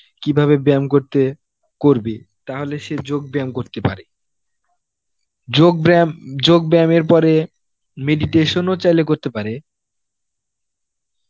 কীভাবে ব্যায়াম করতে করবে তাহলে সে যোগ ব্যায়াম করতে পারে যোগ ব্যায়াম, যোগ ব্যায়ামের পরে meditation ও চাইলে করতে পারে.